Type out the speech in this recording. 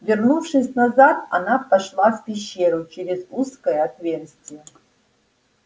вернувшись назад она пошла в пещеру через узкое отверстие